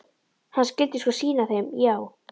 Hann skyldi sko sýna þeim- já!